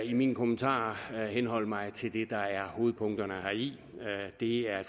i mine kommentarer henholde mig til det der er hovedpunkterne heri det er